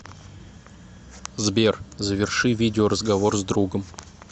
сбер заверши видео разговор с другом